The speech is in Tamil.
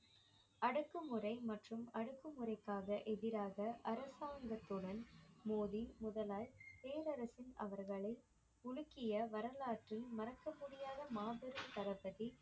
அடக்குமுறை மற்றும் அடக்குமுறைக்காக எதிராக அரசாங்கத்துடன் மோதி முதலாய் பேரரசின் அவர்களை உலுக்கிய வரலாற்றில் மறக்க முடியாத மாபெரும்